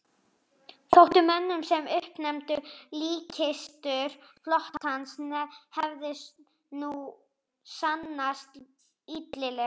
Þótti mönnum sem uppnefnið líkkistur flotans hefði nú sannast illilega.